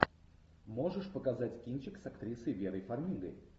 можешь показать кинчик с актрисой верой фармигой